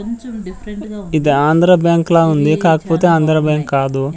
ఇది ఆంధ్రబ్యాంకు లా ఉంది కాకపోతే ఆంధ్ర బ్యాంక్ కాదు.